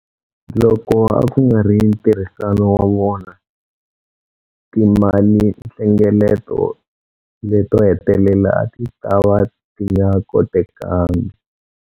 Loko a ku nga ri ntirhisano wa vona, timalinhlengeleto leto hetelela a ti ta va ti nga kotekangi.